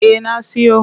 Eh na siyo.